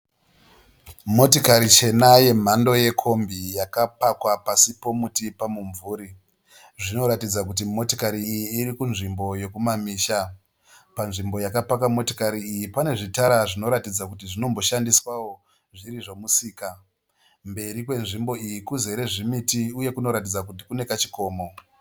Motikari chena yemhando yekombi yakapakwa pasi pomuti pamumvuri. Zvinoratidza kuti motikari iyi irikunzvimbo yokumamisha. Panzvimbo yakapaka motikari iyi pane zvitara zvinoratidza kuti zvinomboshandiswawo zviri zvemusika. Pemberi kwenzvimbo iyi kuzere zvimiti uye kanoratidza kuti kune kachikoma.